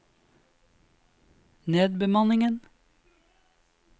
nedbemanningen